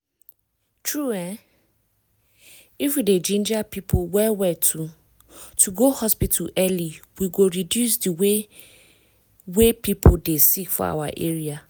true[um] if we dey ginger people well well to to go hospital early we go reduce the way wey people dey sick for our area.